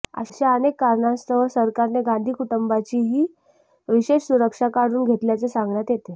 अशा अनेक कारणांस्तव सरकारने गांधी कुटुंबाची ही विशेष सुरक्षा काढून घेतल्याचे सांगण्यात येते